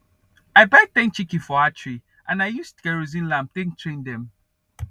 i buy ten chiken from hatchery and i use kerosene lamp take train dem